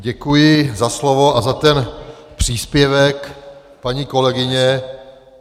Děkuji za slovo a za ten příspěvek paní kolegyně.